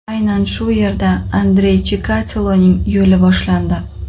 Aynan shu yerda Andrey Chikatiloning yo‘li boshlandi.